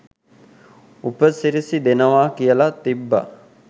උපසිරැසි දෙනවා කියල තිබ්බ